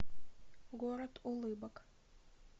город улыбок